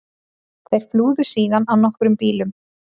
Þeir flúðu síðan á nokkrum bílum